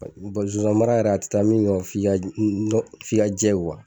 zonzan mara yɛrɛ a taa min kɔ f'i ka f'i ka jɛ